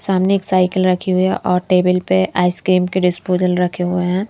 सामने एक साइकिल रखी हुई है और टेबल पे आइसक्रीम के डिस्पोजल रखे हुए हैं।